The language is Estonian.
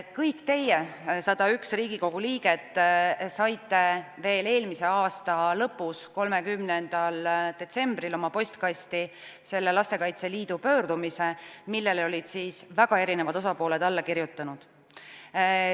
Kõik teie, 101 Riigikogu liiget, saite veel eelmise aasta lõpus, 30. detsembril oma postkasti selle Lastekaitse Liidu pöördumise, millele olid väga erinevad osapooled alla kirjutanud.